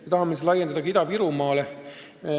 Me tahame seda laiendada ka Ida-Virumaale.